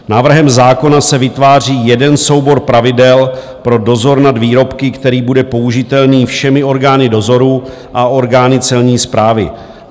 Návrhem zákona se vytváří jeden soubor pravidel pro dozor nad výrobky, který bude použitelný všemi orgány dozoru a orgány Celní správy.